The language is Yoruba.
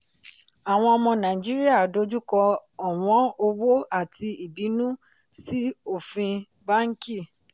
àwọn ọmọ nàìjíríà dojúkọ ọ̀wọ́n owó àti ìbínú sí ofin bánkì.